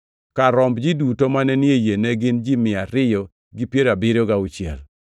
Kar romb ji duto mane ni e yie ne gin mia ariyo gi piero abiriyo gauchiel.